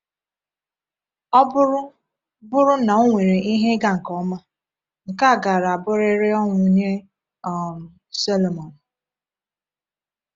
Ọ bụrụ bụrụ na ọ nwere ihe ịga nke ọma, nke a gaara abụrịrị ọnwụ nye um Sọlọmọn.